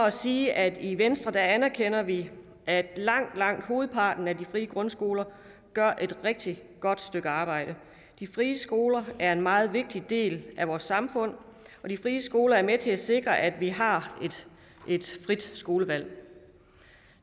at sige at i venstre anerkender vi at langt langt hovedparten af de frie grundskoler gør et rigtig godt stykke arbejde de frie skoler er en meget vigtig del af vores samfund og de frie skoler er med til at sikre at vi har et frit skolevalg